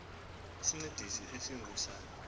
isincedisi esingu sa